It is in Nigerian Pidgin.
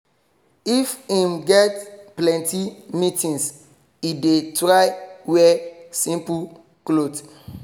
if him get plenty meetings he dey try wear simple clot